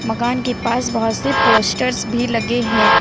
मकान के पास बहुत से पोस्टर्स भी लगे हैं।